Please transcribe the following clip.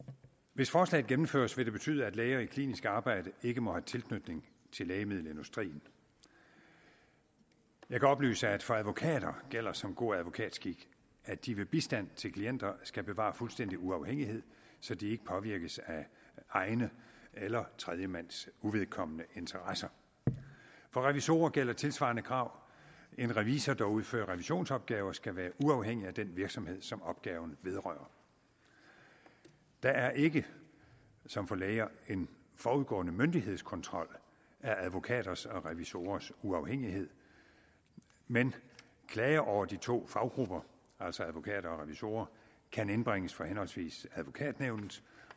hvis forslaget gennemføres vil det betyde at læger i klinisk arbejde ikke må have tilknytning til lægemiddelindustrien jeg kan oplyse at for advokater gælder som god advokatskik at de ved bistand til klienter skal bevare fuldstændig uafhængighed så de ikke påvirkes af egne eller tredjemands uvedkommende interesser for revisorer gælder tilsvarende krav en revisor der udfører revisionsopgaver skal være uafhængig af den virksomhed som opgaven vedrører der er ikke som for læger en forudgående myndighedskontrol af advokaters og revisorers uafhængighed men klager over de to faggrupper altså advokater og revisorer kan indbringes for henholdsvis advokatnævnet